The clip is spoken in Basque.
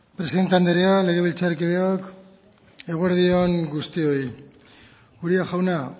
presidente andrea legebiltzarkideok eguerdi on guztioi uria jauna